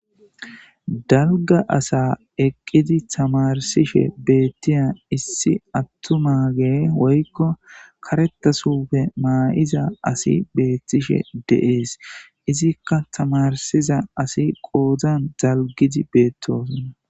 Dalga asa eqqidi tamarsishe beettiya issi attu mage woykko karetasufe maa'iza asi beettishe deees izikka tamarsiza asi qoozan dalgidi beettoosonna.